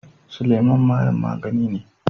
Suleman mayen magani ne.